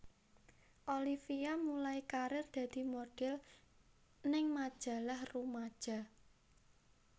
Olivia mulai karir dadi modhel ning majalah rumaja